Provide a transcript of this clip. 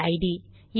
PID